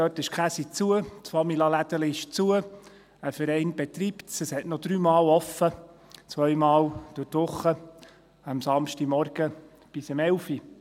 Dort ist die Käserei zu, das Famila-Lädeli ist zu, es wird von einem Verein betrieben, es hat noch dreimal offen, zweimal unter der Woche und am Samstagmorgen bis um 11 Uhr.